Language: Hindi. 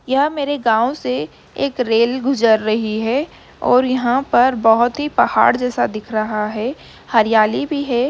यह मेरे गाँव से एक रेल गुजर रही है और यहां पर बहुत ही पहाड़ जैसा दिख रहा है हरयाली भी है।